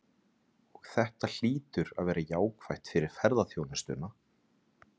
Og þetta hlýtur að vera jákvætt fyrir ferðaþjónustuna?